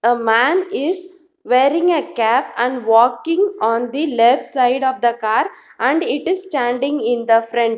a man is wearing a cap and walking on the left side of the car and it is standing in the front.